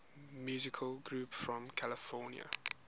musical groups from california